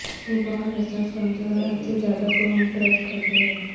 وہ بہت حساس کمزور اور حد سے زیادہ توہم پرست ہوتے ہیں